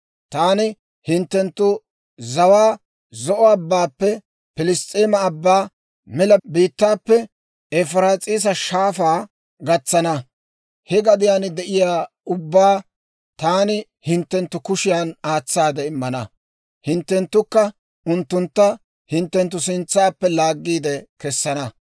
Taani hinttenttu zawaa Zo'o Abbaappe Piliss's'eema Abbaa, mela biittaappe Efiraas'iisa Shaafaa gatsana. He gadiyaan de'iyaa ubbaa taani hinttenttu kushiyaan aatsaade immana; hinttenttukka unttuntta hinttenttu sintsaappe laaggiide kessana.